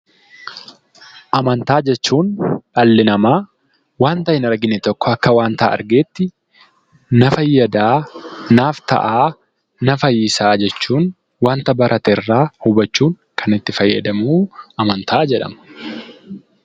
Amantaa jechuun dhalli namaa wanta hin argine tokko akka wanta argeetti na fayyadaa, naaf ta'aa, na fayyisaa jechuun wanta baratee irraa hubachuun kan itti fayyadamu 'Amantaa' jedhama.